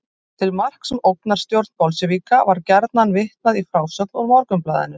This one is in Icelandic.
Til marks um ógnarstjórn bolsévíka var gjarnan vitnað í frásögn úr Morgunblaðinu.